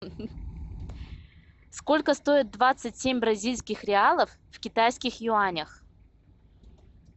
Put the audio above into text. сколько стоит двадцать семь бразильских реалов в китайских юанях